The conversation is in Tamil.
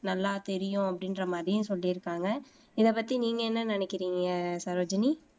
நல்லா தெரியும் அப்படின்ற மாதிரியும் சொல்லிருக்காங்க இதை பத்தி நீங்க என்ன நினைக்கிறீங்க சரோஜினி